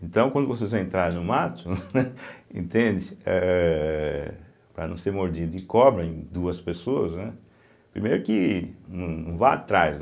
Então, quando vocês vão entrar no mato, entende, ehh para não ser mordido de cobra em duas pessoas, né, primeiro que não vá atrás, né.